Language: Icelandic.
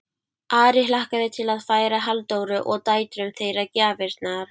Ari hlakkaði til að færa Halldóru og dætrum þeirra gjafirnar.